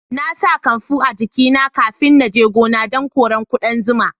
Na sa kanfu a jiki na kafin na je gona dan kore kudan zuma.